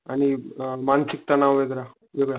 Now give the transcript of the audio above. आणि अ मानसिक तणाव वेगळा.